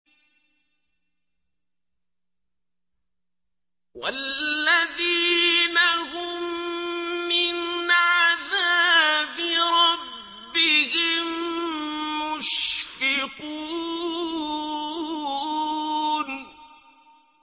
وَالَّذِينَ هُم مِّنْ عَذَابِ رَبِّهِم مُّشْفِقُونَ